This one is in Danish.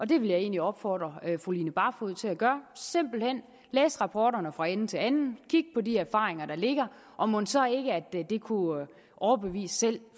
det vil jeg egentlig opfordre fru line barfod til at gøre simpelt hen læse rapporterne fra ende til anden kigge på de erfaringer der ligger og mon så ikke at det kunne overbevise selv